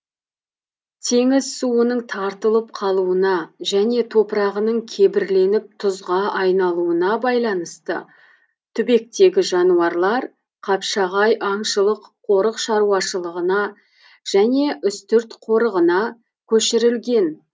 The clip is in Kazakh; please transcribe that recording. теңіз суының тартылып қалуына және топырағының кебірленіп тұзға айналуына байланысты түбектегі жануарлар қапшағай аңшылық қорық шаруашылығына және үстірт қорығына көшірілген